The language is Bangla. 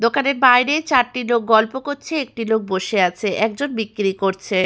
দোকানের বাইরে চারটি লোক গল্প করছে একটি লোক বসে আছে। একজন বিক্রি করছে।